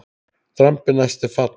Drambi næst er fall.